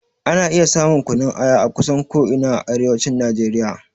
Ana iya samun kunun aya akusan ko ina a arewacin Najeriya.